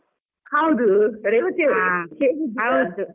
ಹೌದು, ರೇವತಿ .